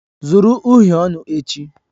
Zụrụ uhiè ọnụ echi!